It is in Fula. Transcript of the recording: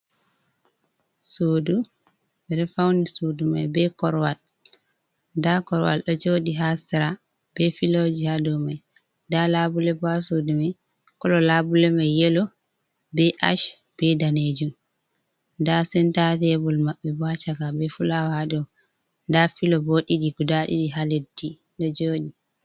Sudu ɓe fauni sudu mai be korwa, nda korwal ɗo joɗi ha sera be filoji ha dou mai, nda labule bo ha sudu mai, kolo labule mai yelo, ɗanejum, nda senta tebol maɓɓe bo ha chaka, be fulawa ha dou, nda filo bo ɗiɗi guda ɗiɗi ha leddi ɗo joɗi.